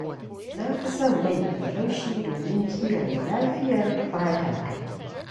Na fi som mai mai laushi domin kiyaye lafiyar fatata.